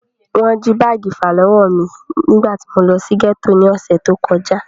Wọ́n jí báàgì ìfàlọ́wọ́ mí nígbà tí mo lọ sí gẹ́tò ní ọ̀sẹ̀ tí o kọjá.